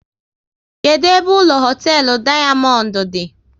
Kedụ ebe ụlọ hoteelu Dayamondu di?